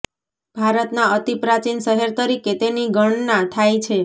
ભારતના અતિ પ્રાચીન શહેર તરીકે તેની ગણના થાય છે